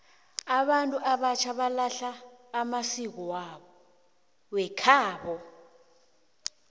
abantu abatjha balahla amasiko wekhabo